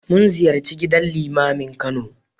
Mun ziyarci gidan Limamin Kano.